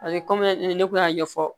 kɔmi ne kun y'a ɲɛfɔ